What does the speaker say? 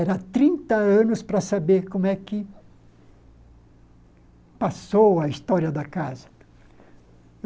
Eram trinta anos anos para saber como é que passou a história da casa.